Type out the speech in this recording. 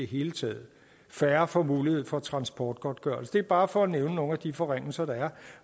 hele taget færre får mulighed for transportgodtgørelse det er bare for at nævne nogle af de forringelser der